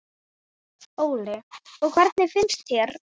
Óli: Og hvernig finnst þér?